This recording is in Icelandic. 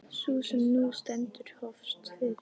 Sú sem nú stendur hófst fyrir